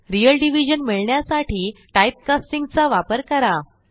real division मिळण्यासाठी typecasting चा वापर करा